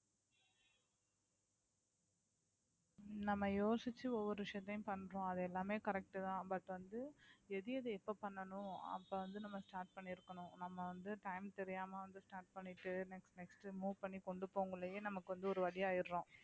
நம்ம யோசிச்சு ஒவ்வொரு விஷயத்தையும் பண்றோம் அது எல்லாமே correct தான் but வந்து எது எது எப்ப பண்ணணும் அப்ப வந்து நம்ம start பண்ணியிருக்கணும் நம்ம வந்து time தெரியாம வந்து start பண்ணிட்டு next next move பண்ணி கொண்டு போகயிலயே நமக்கு வந்து ஒரு வழியாயிடுறோம்